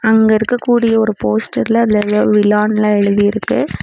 அங்க இருக்கக்கூடிய ஒரு போஸ்டர்ல அதுல எதோ விழானெல்லா எழுதிருக்கு.